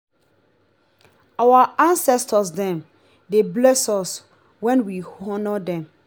our ancestor dem dey bless us wen we honour dem.